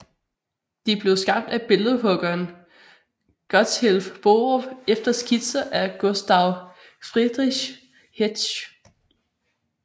De blev skabt af billedhuggeren Gotthilf Borup efter skitser af Gustav Friedrich Hetsch